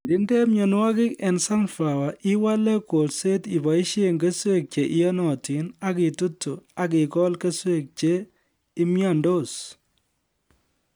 Kirinde mienwokik eng sunflower iwale kolset iboisie keswek che iyonotin, ak itutu akikol keswek che imyondos